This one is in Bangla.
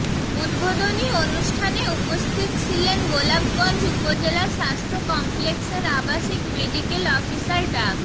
উদ্বোধনী অনুষ্ঠানে উপস্থিত ছিলেন গোলাপগঞ্জ উপজেলা স্বাস্থ্য কমপ্লেক্সের আবাসিক মেডিকেল অফিসার ডা